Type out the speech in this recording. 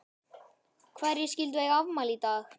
Hverjir skyldu eiga afmæli í dag?